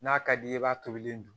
N'a ka d'i ye i b'a tobilen dun